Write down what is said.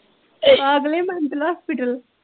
ਪਾਗਲੇ mental hospital